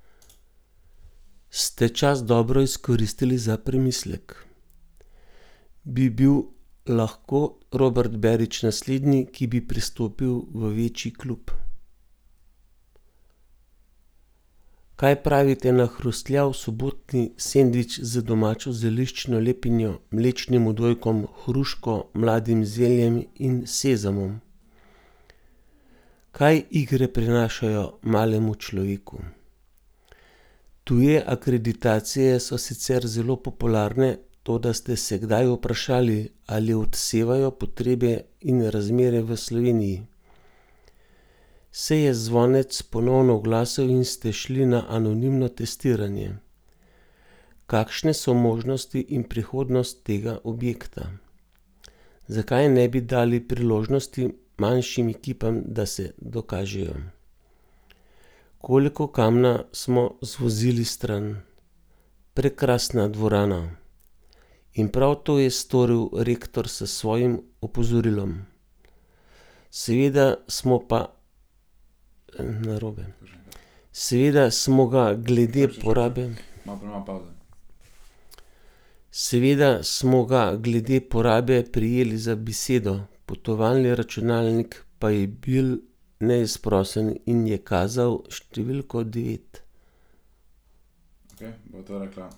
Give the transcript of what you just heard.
Prekrasna dvorana!